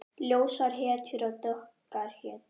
Ljósar hetjur og dökkar hetjur.